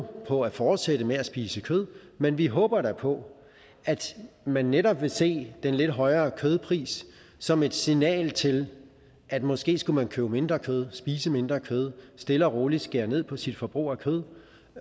på at fortsætte med at spise kød men vi håber da på at man netop vil se den lidt højere kødpris som et signal til at måske skulle man købe mindre kød spise mindre kød stille og roligt skære ned på sit forbrug af kød